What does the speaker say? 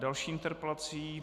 Další interpelace.